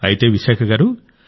అయితే విశాఖ గారూ